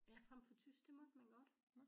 Ja fremfor tysk det måtte man godt